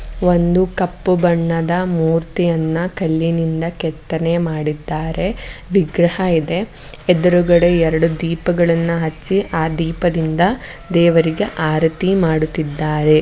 ಒಂದು ಕಪ್ಪು ಬಣ್ಣದ ಮೂರ್ತಿಯನ್ನು ಕಲ್ಲಿನಿಂದ ಕೆತ್ತನೆ ಮಾಡಿದ್ದಾರೆ ವಿಗ್ರಹ ಇದೆ ಎದುರುಗಡೆ ಎರಡು ದೀಪಗಳನ್ನು ಹಚ್ಚಿ ಆ ದೀಪದಿಂದ ದೇವರಿಗೆ ಆರತಿ ಮಾಡುತ್ತಿದ್ದಾರೆ.